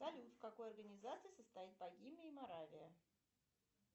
салют в какой организации состоят богемия и моравия